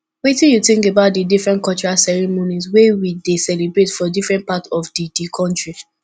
wetin you think about di different cultural ceremonies wey we dey celebrate for different part of di di country